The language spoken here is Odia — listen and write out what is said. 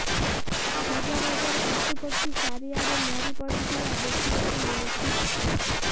ହଜାର ହଜାର ପଶୁ ପକ୍ଷୀ ଚାରିଆଡେ ମରି ପଡିଥିବା ଦେଖିବାକୁ ମିଳୁଛି